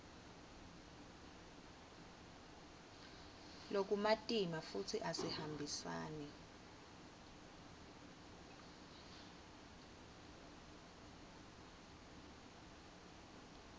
lokumatima futsi asihambisani